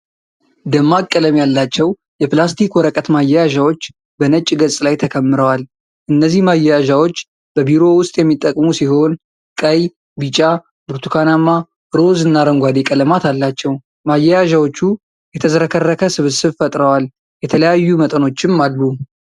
ደማቅ ቀለም ያላቸው የፕላስቲክ ወረቀት ማያያዣዎች በነጭ ገጽ ላይ ተከምረዋል። እነዚህ ማያያዣዎች በቢሮ ውስጥ የሚጠቅሙ ሲሆን ቀይ፣ ቢጫ፣ ብርቱካናማ፣ ሮዝ፣ እና አረንጓዴ ቀለማት አላቸው። ማያያዣዎቹ የተዝረከረከ ስብስብ ፈጥረዋል። የተለያዩ መጠኖችም አሉ።